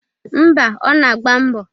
Ḿbà, Ọ na-agba mbo.